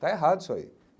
Está errado isso aí.